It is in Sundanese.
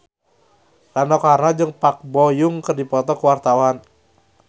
Rano Karno jeung Park Bo Yung keur dipoto ku wartawan